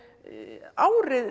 árið